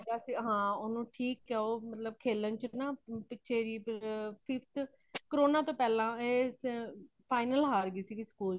ਹਾਂ ਉਨਹੂ ਠੀਕ ਹੇ ਮਤਲੱਬ ਕਿ ਖੇਲਣ ਚ ਨਾ ਪਿੱਛੇ ਵੀ fifth কৰনা ਤੋਂ ਪਹਿਲਾਂ ਇਹ final ਹਾਰ ਗਈ ਸੀ school ਚ